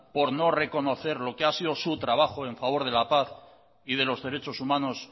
por no reconocer lo que ha sido su trabajo en favor de la paz y de los derechos humanos